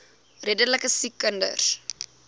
redelike siek kinders